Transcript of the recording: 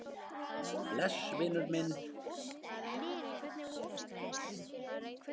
Bless vinur minn.